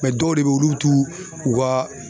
dɔw de bɛ ye olu bu tu u ka